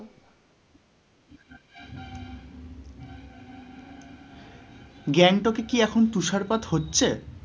গ্যাংটকে কি এখন তুষারপাত হচ্ছে?